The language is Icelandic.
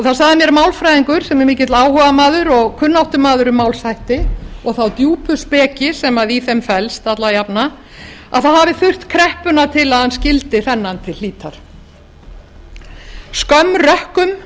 það sagði mér málfræðingur sem er mikill áhugamaður og kunnáttumaður um málshætti og þá djúpu speki sem í þeim felst alla jafnan að það hafi þurft kreppuna til að hann skildi þennan til hlítar skömm rökkum